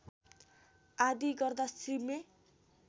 आदि गर्दा सिमे